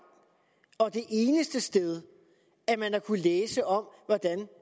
og det eneste sted man har kunnet læse om hvordan